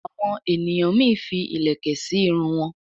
àwọn ènìyàn mí fí ilẹkẹ sí Irun wón.